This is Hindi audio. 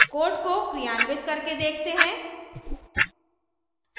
code को क्रियान्वित करके देखते हैं